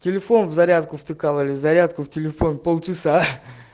телефон в зарядку втыкал или зарядку в телефон полчаса